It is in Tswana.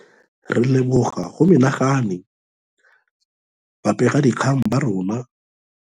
Re leboga go menagane ba begadikgang ba naga ya rona ya Aforika Borwa ba ba semeletseng ka natla e bile ba sa nyeme mooko.